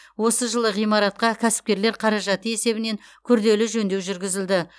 осы жылы ғимаратқа кәсіпкерлер қаражаты есебінен күрделі жөндеу жүргізілді